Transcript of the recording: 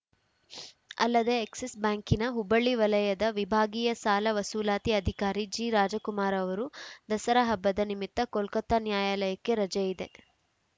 ಅಲ್ಲದೆ ಎಕ್ಸಿಸ್‌ ಬ್ಯಾಂಕಿನ ಹುಬ್ಬಳ್ಳಿ ವಲಯದ ವಿಭಾಗೀಯ ಸಾಲ ವಸೂಲಾತಿ ಅಧಿಕಾರಿ ಜಿರಾಜಕುಮಾರ ಅವರು ದಸರಾ ಹಬ್ಬದ ನಿಮಿತ್ತ ಕೊಲ್ಕತ್ತಾ ನ್ಯಾಯಾಲಯಕ್ಕೆ ರಜೆ ಇದೆ